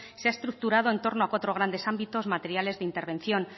se ha estructurado en torno a cuatro grandes ámbitos materiales de intervención